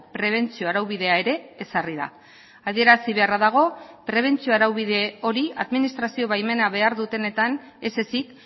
prebentzio araubidea ere ezarri da adierazi beharra dago prebentzio araubide hori administrazio baimena behar dutenetan ez ezik